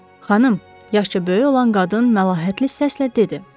Xanım, yaşıca böyük olan qadın məlahətli səslə dedi.